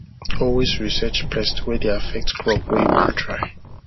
always research pests wy dey affect crop wey you won try